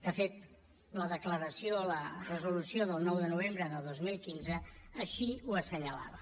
de fet la declaració la resolució del nou de novembre de dos mil quinze així ho assenyalava